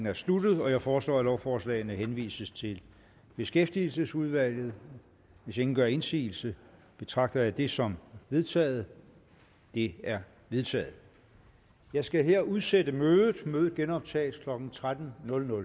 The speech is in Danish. er sluttet jeg foreslår at lovforslagene henvises til beskæftigelsesudvalget hvis ingen gør indsigelse betragter jeg dette som vedtaget det er vedtaget jeg skal her udsætte mødet mødet genoptages klokken tretten